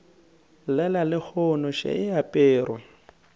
llela lehono še e aperwe